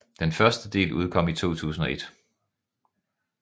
Den første del udkom i 2001